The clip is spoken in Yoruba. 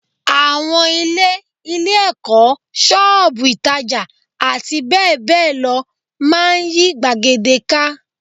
Àwọn ilé, ilé-ẹ̀kọ́, ṣọ́ọ̀bù ìtàjà àti bẹ́ẹ̀ bẹ́ẹ̀ lọ máa ń yí gbàgede ká